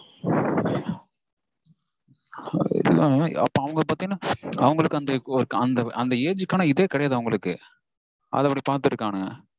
அப்போ அவங்க பாத்தீங்கனா அந்த age கான இதே கெடையாது அவங்களுக்கு. அத அப்படி பாத்திட்டிருக்கானுங்க